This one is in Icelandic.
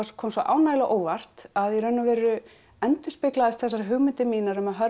kom svo ánægjulega á óvart að í rauninni endurspegluðust þessar hugmyndir mínar um að